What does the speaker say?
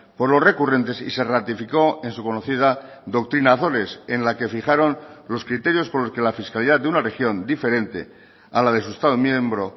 por los recurrentes y se ratificó en su conocida doctrina azores en la que fijaron los criterios por los que la fiscalidad de una región diferente a la de su estado miembro